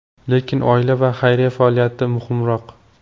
Lekin oila va xayriya faoliyati muhimroq.